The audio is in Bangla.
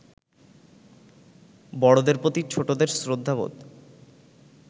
বড়দের প্রতি ছোটদের শ্রদ্ধাবোধ